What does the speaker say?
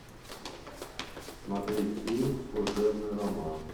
смотреть фильм служебный роман